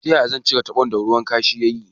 Ta yaya zan cire tabon da ruwan kashu ya yi?